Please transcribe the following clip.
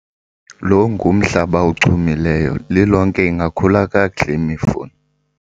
lo ngumhlaba ochumileyo, lilonke ingakhula kakuhle imifuno